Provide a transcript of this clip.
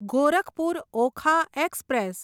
Gorakhpur Okha express